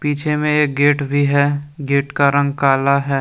पीछे में एक गेट भी है गेट का रंग काला है।